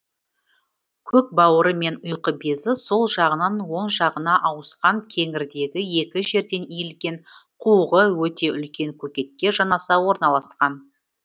көкбауыры мен ұйқы безі сол жағынан оң жағына ауысқан кеңірдегі екі жерден иілген қуығы өте үлкен көкетке жанаса орналасқан